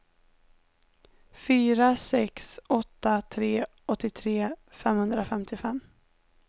fyra sex åtta tre åttiotre femhundrafemtiofem